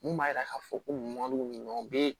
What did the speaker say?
Mun b'a jira k'a fɔ ko mɔdɛli ninnu bɛ